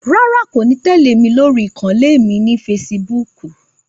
Rárá, kò ní tẹ́lẹ̀ mí lórí ìkànnlé mi ni feṣibúkù